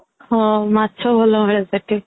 ହଁ ମାଛ ଭଲ ମିଳେ ସେଠି